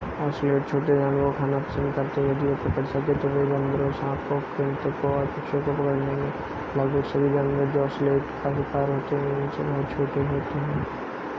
ocelot छोटे जानवरों को खाना पसंद करते हैं यदि वे पकड़ सकें तो वे बंदरों सांपों कृन्तकों और पक्षियों को पकड़ लेंगे लगभग सभी जानवर जो औसीलट का शिकार होते हैं इनसे बहुत छोटे होते हैं